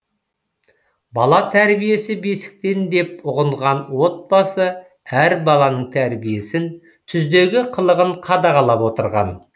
бала тәрбиесі бесіктен деп ұғынған отбасы әр баланың тәрбиесін түздегі қылығын қадағалап отырған